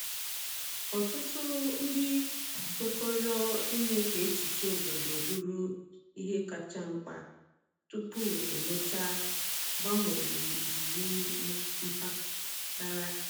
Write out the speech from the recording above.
Ọtụtụ ndị um kwekọrọ ime ka echiche obodo bụrụ ihe kacha mkpa tupu um emechaa um mgbanwe iwu mpaghara.